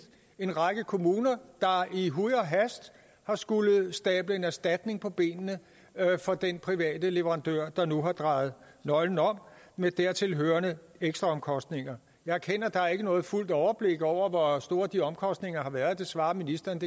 en række kommuner der i huj og hast har skullet stable en erstatning på benene for den private leverandør der nu har drejet nøglen om med dertil hørende ekstraomkostninger jeg erkender at der ikke er noget fuldt overblik over hvor store de omkostninger har været det svarer ministeren at